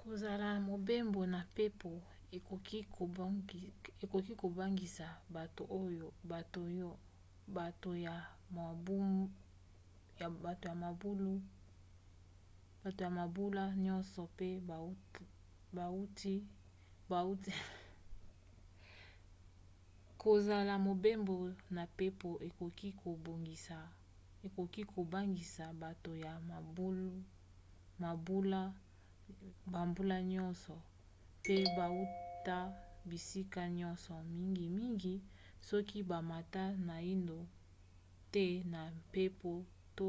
kosala mobembo na mpepo ekoki kobangisa bato ya bambula nyonso pe bauta bisika nyonso mingimingi soki bamata naino te na mpepo to